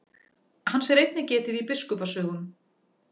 Hans er einnig getið í biskupa sögum.